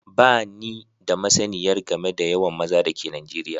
Bani da masniyar game da yawan maza da ke Najeriya